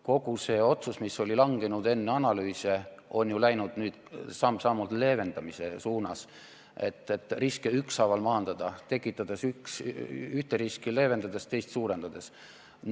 Kogu see otsus, mis oli langenud enne analüüse, on ju läinud nüüd samm-sammult leevendamise suunas, et riske ükshaaval maandada, ühte riski leevendades, teist suurendades.